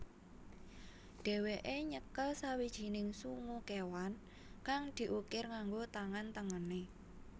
Dheweke nyekel sawijining sungu kewan kang diukir nganggo tangan tengene